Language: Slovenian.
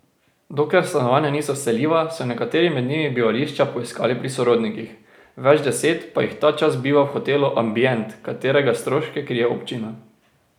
Dokler stanovanja niso vseljiva, so nekateri med njimi bivališča poiskali pri sorodnikih, več deset pa jih ta čas biva v hotelu Ambient, katerega stroške krije občina.